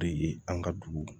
Bere ye an ka dugu